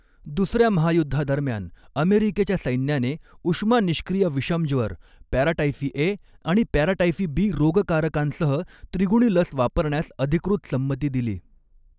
दुसर्या महायुद्धादरम्यान, अमेरिकेच्या सैन्याने उष्मा निष्क्रिय विषमज्वर, पॅराटाइफी ए आणि पॅराटाइफी बी रोगकारकांसह त्रिगुणी लस वापरण्यास अदिकृत संमती दिली.